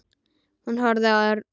Hún horfði á Örn.